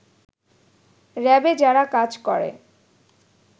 র‍্যাবে যারা কাজ করে